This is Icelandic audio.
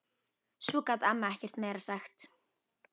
Svo gat amma ekkert meira sagt.